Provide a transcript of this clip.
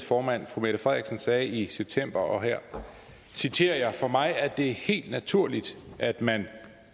formand fru mette frederiksen sagde i september og her citerer jeg for mig er det helt naturligt at man